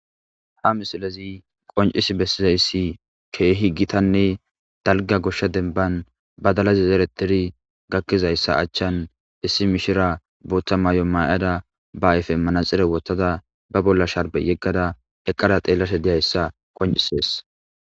Hamisilezi Qonc'c'isi bessizayssi keehi gitanne dalga goshsha demban badala y zerettidi gakkizayssa achchaan issi mishiriya booththa mayo mayada ba ayfen manaxxire woththada babolla sharbe yeggada eqqada xeellashe de7izayssa qonc'isi bessees.